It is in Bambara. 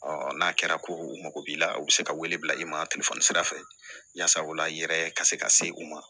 Ɔ n'a kɛra ko u mago b'i la u bɛ se ka wele bila i ma telefɔni sira fɛ yasa o la i yɛrɛ ka se ka se u ma